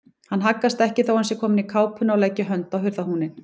Hann haggast ekki þó að hún sé komin í kápuna og leggi hönd á hurðarhúninn.